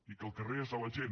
i que el carrer és de la gent